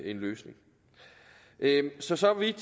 en løsning så så vidt